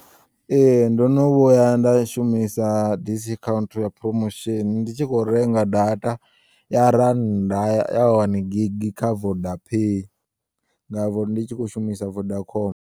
Ee, ndono vhuya nda shumisa disi khauntu ya promosheni ndi tshi khou renga data ya randa ya wani gigi kha vodapay nda vhori ndi tshi khou shumisa vodacom.